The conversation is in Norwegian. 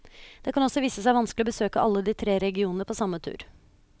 Det kan også vise seg vanskelig å besøke alle de tre regionene på samme tur.